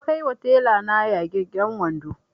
Na kai ma tela na yagagen wando